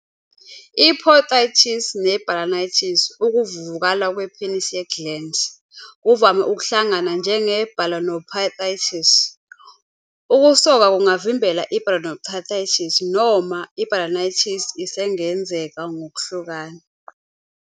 I-Posthitis ne- balanitis, ukuvuvukala kwepenisi ye-glans, kuvame ukuhlangana njenge- balanoposthitis. Ukusoka kungavimbela i-balanoposthitis, noma i-balanitis isengenzeka ngokwehlukana.